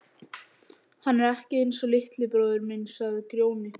Hann er ekki einsog litli bróðir minn, sagði Grjóni.